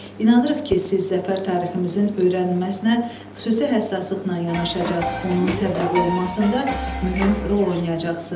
İnanırıq ki, siz Zəfər tariximizin öyrənilməsinə xüsusi həssaslıqla yanaşacaq, onun təbliğ olunmasında mühüm rol oynayacaqsınız.